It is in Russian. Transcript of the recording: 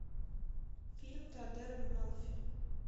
фильм теодора мелфи